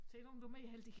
Se nu om du mere heldig